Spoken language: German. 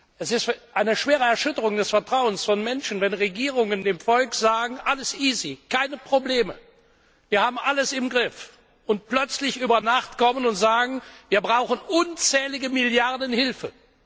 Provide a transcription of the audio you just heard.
Es ist eine schwere Erschütterung des Vertrauens von Menschen, wenn Regierungen dem Volk sagen, alles easy, keine Probleme, wir haben alles im Griff, und plötzlich über Nacht kommen und sagen, wir brauchen unzählige Milliarden Hilfe.